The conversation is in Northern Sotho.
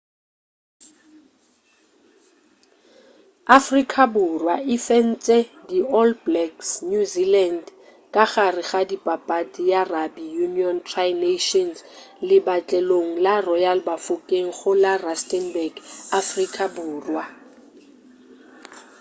afrika borwa e fentše di all blacks new zealand ka gare ga papadi ya rugby union tri nations lepatlelong la royal bafokeng go la rustenburg afrika borwa